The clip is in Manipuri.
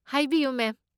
ꯍꯥꯏꯕꯤꯌꯨ, ꯃꯦꯝ꯫